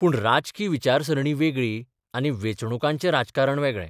पूण राजकी विचारसरणी वेगळी आनी वेंचणुकांचें राजकारण वेगळे.